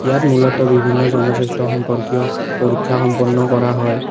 ইয়াত মূলত বিভিন্ন জনস্বাস্থ্য সম্পৰ্কীয় পৰীক্ষা সম্পন্ন কৰা হয়।